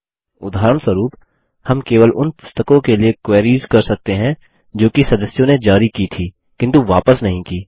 उदाहरणस्वरुप हम केवल उन पुस्तकों के लिए क्वेरीस कर सकते हैं जोकि सदस्यों ने जारी की थी किन्तु वापस नहीं की